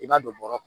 I b'a don bɔrɔ kɔrɔ